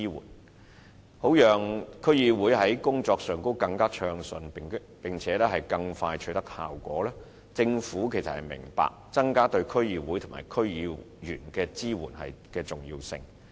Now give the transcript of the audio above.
為了讓區議會的工作更順暢和更快取得效果，政府明白增加對區議會及區議員的支援的重要性。